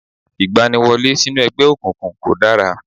Ìgbaniwọlé sínú ẹgbẹ́ òkùnkùn kọ̀ dára